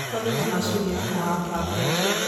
Kũrĩ na macini ya kũhanda mbembe.